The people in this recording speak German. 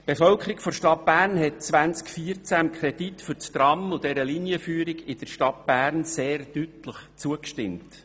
Die Bevölkerung der Stadt Bern stimmte im Jahr 2014 dem Kredit für das Tram und der Linienführung in der Stadt Bern sehr deutlich zu.